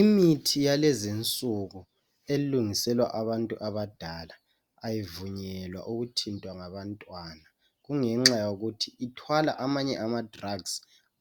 Imithi yalezi nsuku elungiselwa abantu abadala ayivunyelwa ukuthintwa ngabantwana kungenxa yokuthi ithwala amanye ama"drugs"